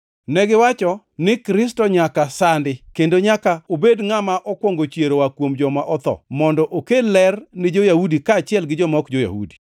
Negiwacho ni Kristo nyaka sandi, kendo nyaka obed ngʼama okwongo chier oa kuom joma otho, mondo okel ler ni jo-Yahudi kaachiel gi joma ok jo-Yahudi.”